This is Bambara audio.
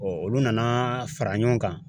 olu nana fara ɲɔgɔn kan